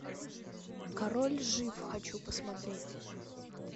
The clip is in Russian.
король жив хочу посмотреть